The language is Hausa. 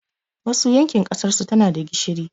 Wasu yankin ƙasarsu tanada gishiri